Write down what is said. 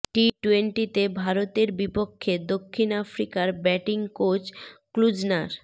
টি টোয়েন্টিতে ভারতের বিপক্ষে দক্ষিণ আফ্রিকার ব্যাটিং কোচ ক্লুজনার